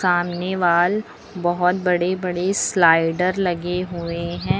सामने वॉल बहुत बड़े बड़े स्लाइडर लगे हुए हैं।